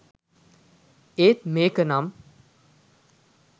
ඒත් මේක නම්